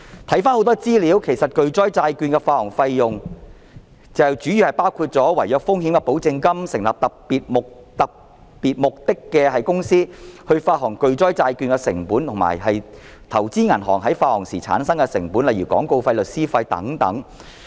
很多資料顯示，巨災債券的發行費用主要包括違約風險保證金、成立特別目的公司、發行巨災債券的成本，以及投資銀行發行時產生的成本，例如廣告費、律師費等。